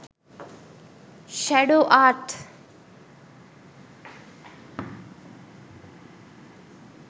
shadow art